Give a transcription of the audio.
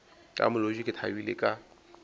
ka molodi ke thabile ka